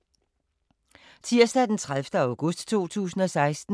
Tirsdag d. 30. august 2016